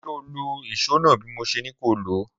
Sọ lọ ìsó nà bí mó sẹ ni kó ló?